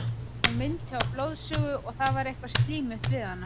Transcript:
Hún minnti á blóðsugu og það var eitthvað slímugt við hana.